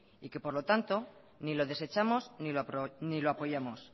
por lo tanto ni lo desechamos ni lo apoyamos